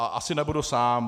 A asi nebudu sám.